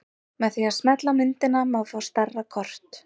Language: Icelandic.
Með því að smella á myndina má fá stærra kort.